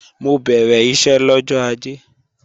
Mo bẹ̀rẹ̀ iṣẹ́ lọ́jọ́ Ajé